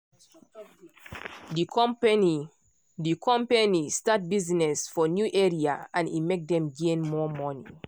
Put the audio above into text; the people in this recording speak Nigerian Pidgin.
the company the company start business for new area and e make dem gain more money.